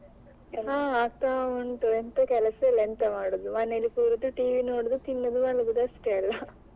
ಹಾ ಆಗ್ತಾ ಉಂಟು ಎಂತ ಕೆಲಸ ಇಲ್ಲ ಎಂತ ಮಾಡೋದು ಮನೇಲಿ ಕೂರುದು TV ನೋಡುದು ತಿನ್ನುದು ಮಲಗುದು ಅಷ್ಟೇ ಅಲ್ಲ .